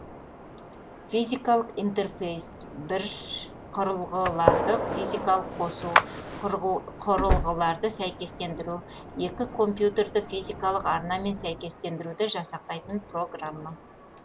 физикалық интерфейс бір құрылғыларды физикалық қосу құрылғыларды сәйкестендіру екі компьютерді физикалық арнамен сәйкестендіруді жасақтайтын программа